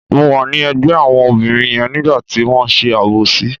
Mo wà ní ẹ̀gbẹ́ àwọn obìnrin yẹn nígbà tí wọ́n ṣe àbòsí.